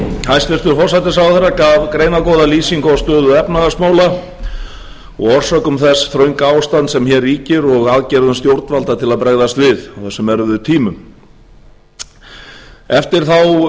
hæstvirtur forsætisráðherra gaf greinargóða lýsingu á stöðu efnahagsmála og orsökum þess þrönga ástands sem hér ríkir og aðgerðum stjórnvalda til að bregðast við á þessum erfiðu tímum eftir þá